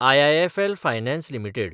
IIFL finance limited